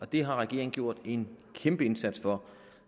det har regeringen gjort en kæmpe indsats for